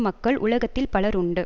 மக்கள் உலகத்தில் பலர் உண்டு